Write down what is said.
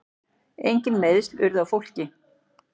Engin meiðsl urðu á fólki.